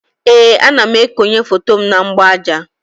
Ee, ana m ekonye foto m na mgbaaja